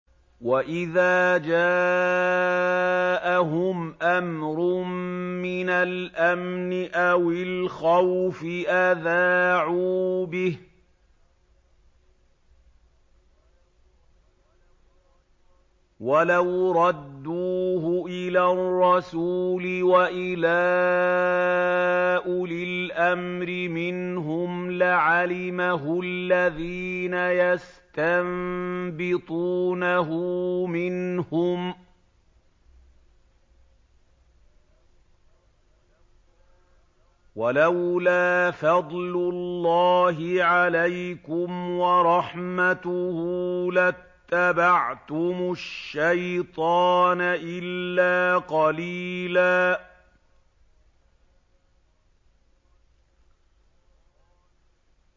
وَإِذَا جَاءَهُمْ أَمْرٌ مِّنَ الْأَمْنِ أَوِ الْخَوْفِ أَذَاعُوا بِهِ ۖ وَلَوْ رَدُّوهُ إِلَى الرَّسُولِ وَإِلَىٰ أُولِي الْأَمْرِ مِنْهُمْ لَعَلِمَهُ الَّذِينَ يَسْتَنبِطُونَهُ مِنْهُمْ ۗ وَلَوْلَا فَضْلُ اللَّهِ عَلَيْكُمْ وَرَحْمَتُهُ لَاتَّبَعْتُمُ الشَّيْطَانَ إِلَّا قَلِيلًا